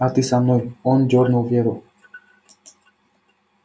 а ты со мной он дёрнул веру